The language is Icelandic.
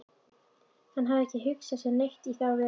Hann hafði ekki hugsað sér neitt í þá veru.